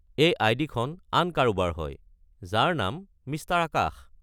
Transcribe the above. এই আই.ডি-খন আন কাৰোবাৰ হয়, যাৰ নাম মিষ্টাৰ আকাশ।